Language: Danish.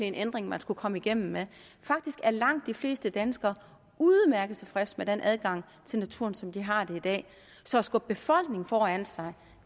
en ændring man skulle komme igennem med faktisk er langt de fleste danskere udmærket tilfreds med den adgang til naturen som de har i dag så at skubbe befolkningen foran sig